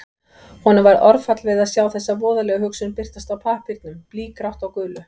Honum varð orðfall við að sjá þessa voðalegu hugsun birtast á pappírnum, blýgrátt á gulu.